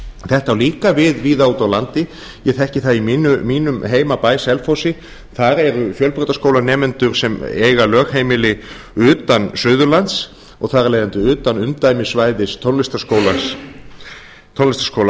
þetta á líka við víða úti á landi ég þekki það í mínum heimabæ selfossi þar eru fjölbrautaskólanemendum sem eiga lögheimili utan suðurlands og þar af leiðandi utan umdæmissvæðis tónlistarskóla